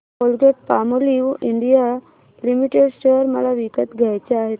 Colgate Palmolive India limited share मला विकत घ्यायचे आहेत